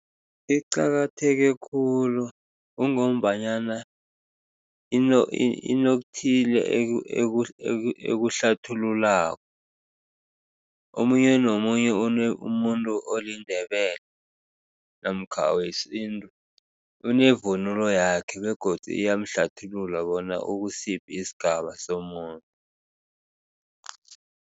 Iqakatheke khulu kungombanyana inokuthile ekuhlathululako. Omunye nomunye umuntu oliNdebele namkha wesintu unevunulo yakhe begodu iyamhlathulula bona ukusiphi isigaba somuntu.